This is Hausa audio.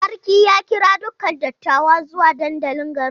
Sarki ya kira dukan dattawa zuwa dandalin garin.